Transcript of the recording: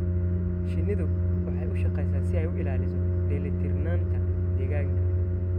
Shinnidu waxay u shaqeysaa si ay u ilaaliso dheelitirnaanta deegaanka.